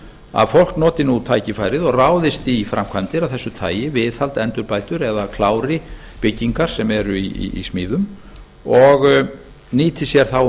að fólk noti nú tækifærið og ráðist í framkvæmdir af þessu tagi viðhald endurbætur eða klári byggingar sem eru í smíðum og nýti sér þá um